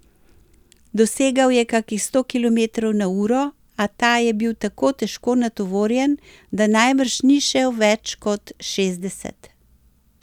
Dosegal je kakih sto kilometrov na uro, a ta je bil tako težko natovorjen, da najbrž ni šel več kot šestdeset.